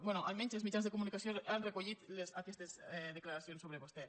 bé almenys els mitjans de comunicació han recollit aquestes declaracions sobre vostè